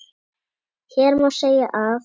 Hér má segja að